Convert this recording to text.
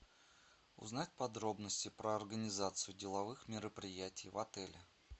узнать подробности про организацию деловых мероприятий в отеле